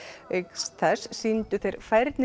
auk þess sýndu þeir færni